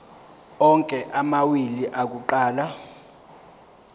onke amawili akuqala